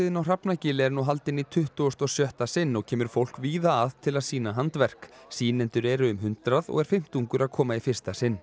á Hrafnagili er nú haldin í tuttugasta og sjötta sinn og kemur fólk víða að til að sýna handverk sýnendur eru um hundrað og er fimmtungur að koma í fyrsta sinn